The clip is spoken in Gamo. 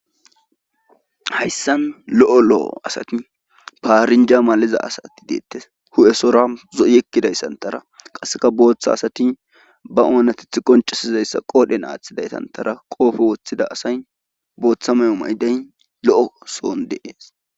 hayssan lo'o lo'o asati paarinja maliza asati deettes hu'esora zoyekkidayssantara qasseka booththa asati ba oonatith qoncasizayssa qoodhen aaththidaytantara qoofe woththida asay booththameyo maydey lo'o soon de'es